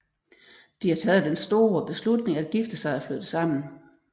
De har taget den store beslutning at gifte sig og flytte sammen